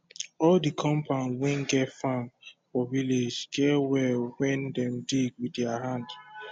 all de compound wen get farm for village get well wen dem dig wit dier hand